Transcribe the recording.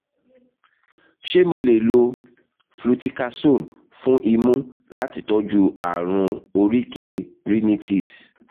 ṣé mo lè lo fluticasone fún imú láti tọ́jú ààrùn oríkèé rhinitis?